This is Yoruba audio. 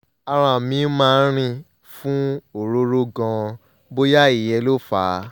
ara mi máa ń rin fún òróró gan-an bóyá ìyẹn ló fà á